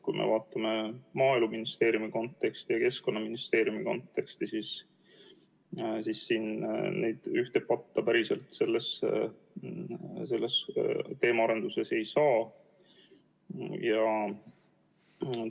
Kui me vaatame Maaeluministeeriumi konteksti ja Keskkonnaministeeriumi konteksti, siis ei saa neid selles teemaarenduses ühte patta panna.